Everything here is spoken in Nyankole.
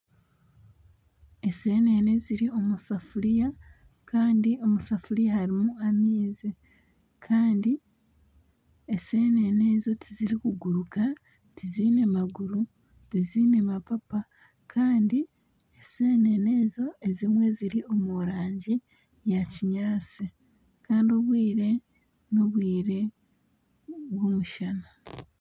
Ensenene eziri omusefuriya kandi omusefuriya harimu amaizi kandi ensenene tizirikuguruka tiziine maguru tiziine mapapa kandi ensenene ezo ezimwe ziri omu rangi eya kinyatsi kandi obwire nobwire bw'omushana